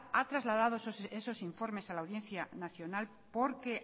ha trasladado esos informes a la audiencia nacional porque